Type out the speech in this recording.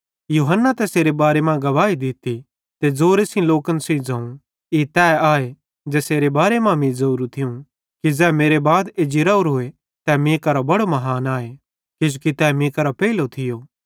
यूहन्ने तैसेरे बारे मां गवाही दित्ती ते ज़ोरे सेइं लोकन सेइं ज़ोवं ई तै आए ज़ेसेरे बारे मां मीं ज़ोरू थियूं कि ज़ै मेरे बाद एज्जी राओरोए तै मीं करां बड़ो महान आए किजोकि तै मीं करां पेइलो थियो